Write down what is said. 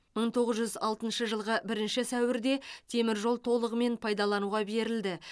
мың тоғыз жүз алтыншы жылғы бірінші сәуірде теміржол толығымен пайдалануға берілді